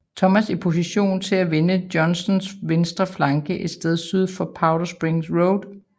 Thomas i position til at vende Johnstons venstre flanke et sted syd for Powder Springs Road